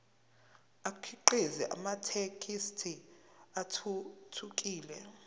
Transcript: akhiqize amathekisthi athuthukile